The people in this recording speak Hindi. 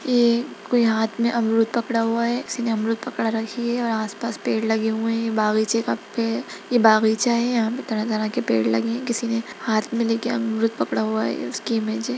ये कोई हाथ में अमरूद पकड़ा हुआ है किसी ने अमरुद पकड़ रखी है और आसपास पेड़ लगे हुए हैं ये बगीचे का पे ये बगीचा है यहाँ पे तरह-तरह के पेड़ लगे हैं किसी ने हाथ में लेके अमरुद पकड़ा हुआ है ये उसकी इमेंज है।